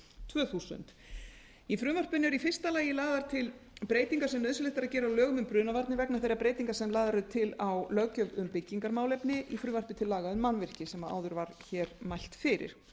tvö þúsund í frumvarpinu er í fyrsta lagi lagðar til breytingar sem nauðsynlegt er að gera á lögum um brunavarnir vegna þeirra breytinga sem lagðar eru til á löggjöf um byggingarmálefni í frumvarpi til laga um mannvirki sem áður var hér mælt fyrir